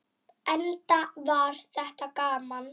Enda var þetta gaman.